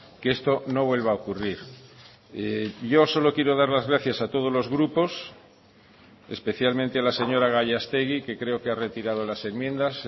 que esto no vuelva a ocurrir yo solo quiero dar las gracias a todos los grupos especialmente a la señora gallastegui que creo que ha retirado las enmiendas